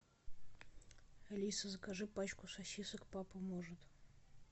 алиса закажи пачку сосисок папа может